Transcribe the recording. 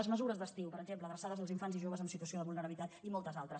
les mesures d’estiu per exemple adreçades als infants i joves en situació de vulnerabilitat i moltes altres